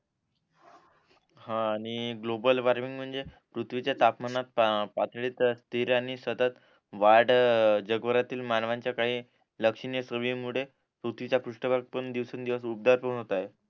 हा आणि global warming म्हणजे पृथ्वीच्या तापमानात स्त्रीर आणि सतत वाढ जगभरातील मानवांच्या काही लक्षणीय सोयीमुळे पुर्थ्वीचा पृष्ट भाग पण दिवसान दिवस उग्दार पण होतंय